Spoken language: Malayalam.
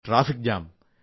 traffic jam